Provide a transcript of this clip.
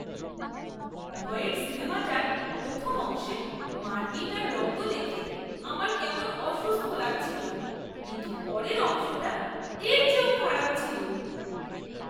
ভয়ের সিনেমাটার প্রথম অংশে মারপিট আর রক্ত দেখে আমার কেমন অসুস্থ লাগছিল, কিন্তু পরের অংশটা এর চেয়েও খারাপ ছিল!